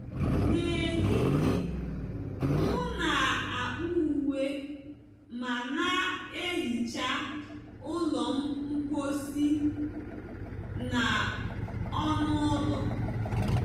N'ehihie, m na-akpụ uwe ma na-ehicha ụlọ mposi na ọnụ ụlọ.